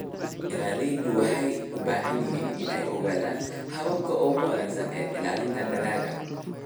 Beeralayda waxay u baahan yihiin inay ogaadaan hababka ugu wanaagsan ee ilaalinta dalagga.